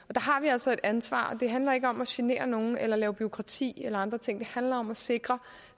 altså et ansvar og det handler ikke om at genere nogen eller lave bureaukrati eller andre ting det handler om at sikre